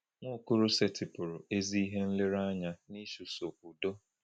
Nwaokolo setịpụụrụ ezi ihe nlereanya n’ịchụso udo.